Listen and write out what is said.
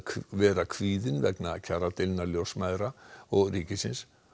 vera kvíðin vegna kjaradeilna ljósmæðra og ríkisins